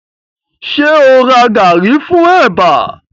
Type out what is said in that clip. Ṣẹ o ra gàrí fún ẹ̀bà